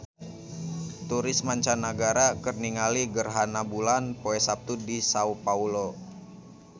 Turis mancanagara keur ningali gerhana bulan poe Saptu di Sao Paolo